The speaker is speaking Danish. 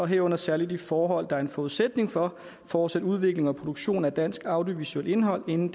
herunder særligt de forhold der er en forudsætning for fortsat udvikling og produktion af dansk audiovisuelt indhold inden